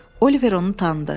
Oliver onu tanıdı.